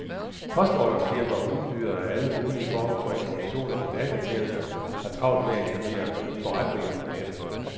Postordrefirmaer og udbydere af alle mulige former for informationer og datatjenester har travlt med at etablere forretninger på nettet.